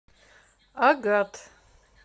агат